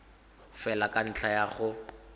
fela ka ntlha ya go